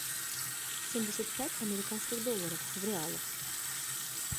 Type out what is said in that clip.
семьдесят пять американских долларов в реалах